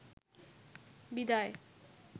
বিদায়